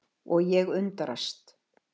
Og ég undrast.